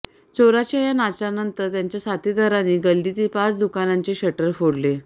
चोराच्या या नाचानंतर त्याच्या साथीदारांनी गल्लीतील पाच दुकानांचे शटर फोडले